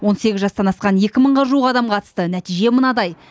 он сегіз жастан асқан екі мыңға жуық адам қатысты нәтиже мынадай